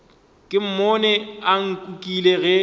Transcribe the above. ke mmone a nkukile ge